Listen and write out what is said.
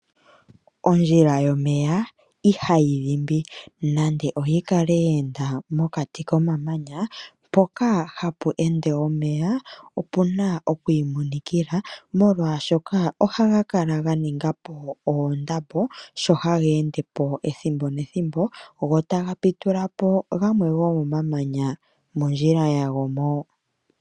Ondjila yomeya ihayi dhimbi nande yi kale yeenda mokati koma manya. Mpoka hapu ende omeya opuna okwiimonikila, molwaashoka ohaga kala ga ningapo oondabo sho hageende po ethimbo nethimbo, go taga pitula po gamwe gomo mamanya mondjila yago mo.